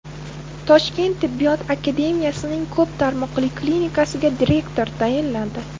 Toshkent tibbiyot akademiyasining ko‘p tarmoqli klinikasiga direktor tayinlandi.